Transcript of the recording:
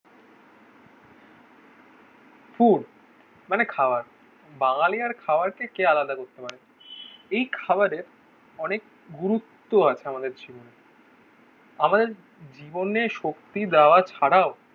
Food মানে খাওয়ার. বাঙালি আর খাবার খেয়ে কে আলাদা করতে পারে? এই খাবারে অনেক গুরুত্ব আছে আমাদের জীবনে আমাদের জীবনে শক্তি দেওয়া ছাড়াও